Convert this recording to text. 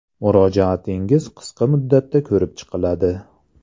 Murojaatingiz qisqa muddatda ko′rib chiqiladi.